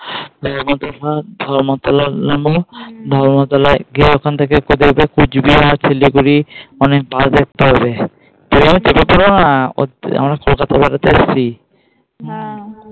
ধর্মতলা নামবো ধর্মতলায় গিয়ে ওখান থেকে কুচবিহার শিলিগুড়ি অনেক Bus দেখতে পাবে